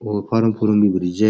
और फार्म फूरम भी भरी ज।